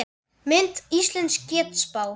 Mynd: Íslensk getspá